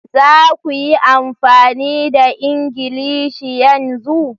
Za ku yi amfani da Ingilishi yanzu!